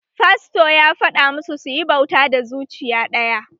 Fasto ya fada masu suyi bauta da zuciya ɗaya